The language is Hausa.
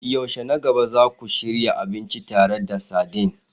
Yaushe na gaba za ku shirya abinci tare da sardine?